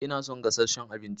Ina son gasasshen abinci